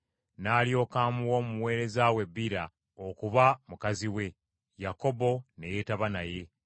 N’alyoka amuwa omuweereza we Biira okuba mukazi we, Yakobo ne yeetaba naye.